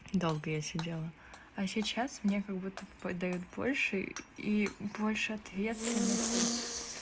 долго я сидела а сейчас меня как будто подают больше и больше ответственности